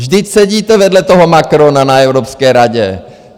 Vždyť sedíte vedle toho Macrona na Evropské radě.